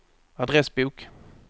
adressbok